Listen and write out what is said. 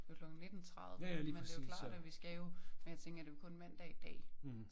Det jo klokken 19 30 men det jo klart at vi skal jo men jeg tænker det jo kun mandag i dag